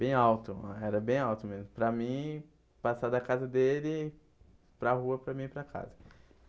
Bem alto, era bem alto mesmo, para mim, passar da casa dele para rua, para mim, ir para casa.